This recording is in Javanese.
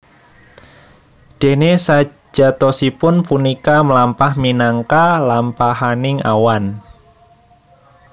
Déné sajatosipun punika mlampah minangka lampahaning awan